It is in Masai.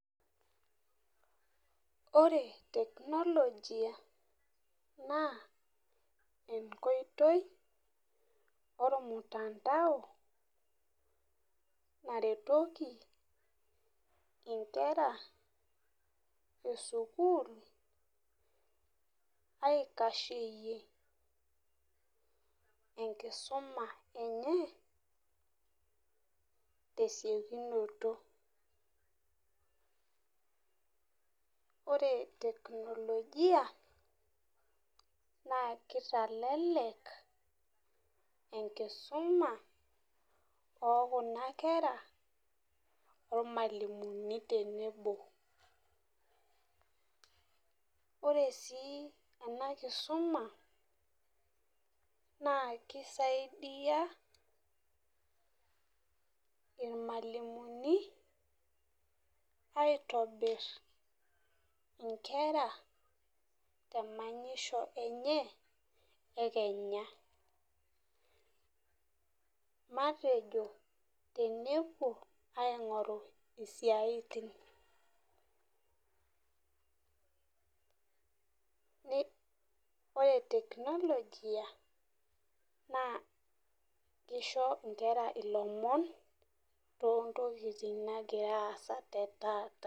Ore technology na enkoitoi ormunandao naretoki nkera esukul aitasheyie enkisuma enye tesiokinoto ore technologia na kitelelek enkisuma okuna kwra ormalimunintenebo ore si enakisuma na kisaidia irmalimulini aitobir nkwra temanyisho enye ekenya matejo tenepuo aingoru siatin ore technologia nakisho nkera lomon tontokitin nagira aasa taata.